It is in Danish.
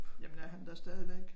Jamen er han der stadigvæk?